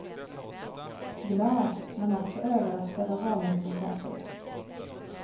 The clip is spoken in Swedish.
Glad, men också överraskad av valresultatet.